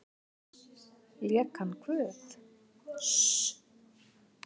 Lék hann guð?